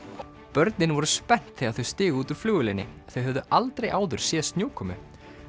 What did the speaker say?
börnin voru spennt þegar þau stigu út úr flugvélinni þau höfðu aldrei áður séð snjókomu